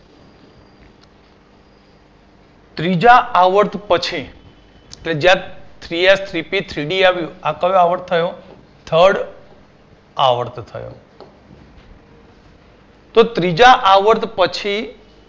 ત્રીજા આવર્ત પછી ફરજિયાત Three S Three P Three D આવ્યું આ કયો આવર્ત થયો Third આવર્ત થયો તો ત્રીજા આવર્ત પછી